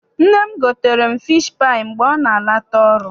Nne m gotere m fishi paayị mgbe ọ na-ala ta ọrụ.